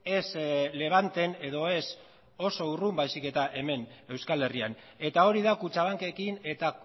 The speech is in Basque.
ez levanten edo ez oso urrun baizik eta hemen euskal herrian eta hori da kutxabankekin eta